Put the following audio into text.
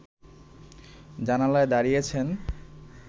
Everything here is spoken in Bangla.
জানালায় দাঁড়িয়েছেন